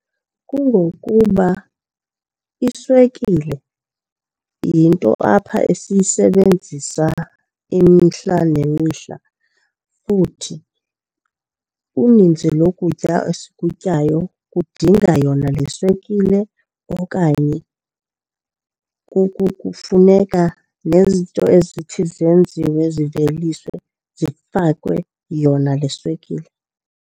Kungokuba iswekile yinto apha esiyisebenzisa imihla nemihla futhi uninzi lokutya esikutyayo kudinga yona le swekile okanye kufuneka nezinto ezithi zenziwe ziveliswe zifakwe yona le swekile.